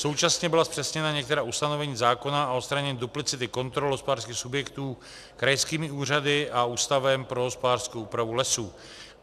Současně byla zpřesněna některá ustanovení zákona o odstranění duplicity kontrol hospodářských subjektů krajskými úřady a Ústavem pro hospodářskou úpravu lesů.